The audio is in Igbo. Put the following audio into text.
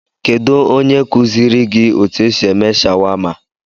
Kedụ ónyé nyere kuziri gị etu esị eme shawama?